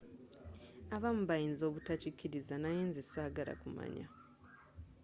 abamu bayinza obutakiriza naye nze sagala kumanya